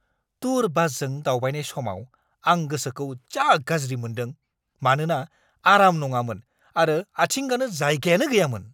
Tour बासजों दावबायनाय समाव आं गोसोखौ जा गाज्रि मोन्दों मानोना आराम नङामोन आरो आथिं गानो जायगायानो गैयामोन।